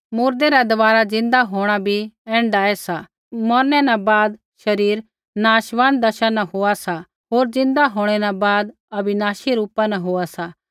मुर्दै रा दबारा ज़िन्दा होंणा भी ऐण्ढा ही सा मौरनै न बाद शरीर नाशमान दशा न होआ सा होर ज़िन्दा होंणै न बाद अविनाशी रूपा न होआ सा